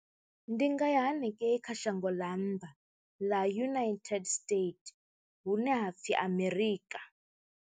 Ndi nga ya hanengei kha shango ḽa nnḓa ḽa United States hune ha pfhi Amerika.